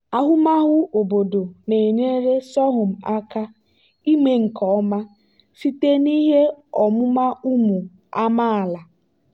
ahụmahụ obodo na-enyere sorghum aka ime nke ọma site n'ihe ọmụma ụmụ amaala.